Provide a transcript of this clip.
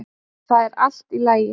ÞAÐ ER ALLT Í LAGI!